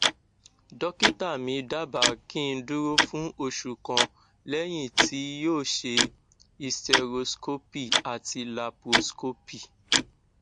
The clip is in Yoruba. dọkítà mí dábàá kí n dúró fún oṣù kan lẹyìn tí yóò ṣe hysteroscopy àti laproscopy